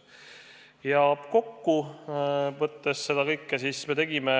Seda kõike kokku võttes, me tegime